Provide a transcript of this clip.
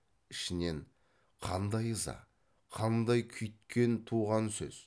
ішінен қандай ыза қандай күйіткен туған сөз